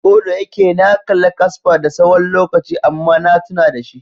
Ko da yake na kalla kasper da tsawon lokaci amma na tuna da shi.